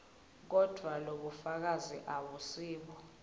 kodvwa lobufakazi abusibo